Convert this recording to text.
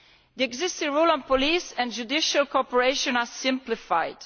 The existing rules on police and judicial cooperation are simplified.